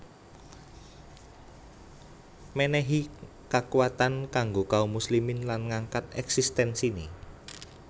Mènèhi kakuatan kanggo kaum muslimin lan ngangkat eksistensiné